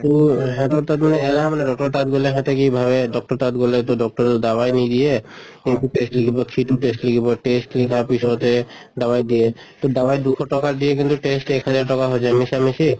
তʼ সিহঁতৰ তাত মানে doctor ৰৰ তাত গʼলে সহঁতে কি ভাবে doctor ৰ তাত গʼলে টো doctor য়ে দাবাই নিদিয়ে, এটো test লিখিব, সিটো test লিখিব test লিখাৰ পিছতে দাৱাই দিয়ে। তʼ দাৱাই দুশ টকৰা দিয়ে কিন্তু test এক হাজাৰ টকা হৈ যায় মিছা মিছি